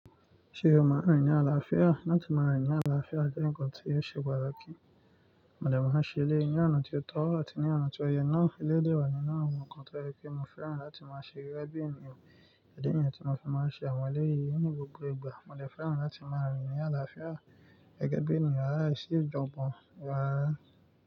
Ṣé o máa rìn ní àlàáfíà? Látí máa rìn ní àlàáfíà jẹ́ ǹkan tí ò ṣe pátakí. Mo dẹ̀ máa n ṣẹ elẹ̀yi ní ọ̀nà tí ó tọ́ àti ní ọ̀nà tí ó yẹ náà. Elédè wà nínú àwọn ǹkan tó yẹ̀ pé mo fẹ́ràn láti máa ṣeré bí ènìyàn, ìdí nìyẹn tí mo fi máa ń ṣe àwọn eléyìí ní gbogbo ìgbà. Mo dẹ̀ fẹ́ràn láti máa rìn ní àlàáfíà gẹ́gẹ́ bí ènìyàn, láìsí ìjọ́gbọ́n, wàá rà.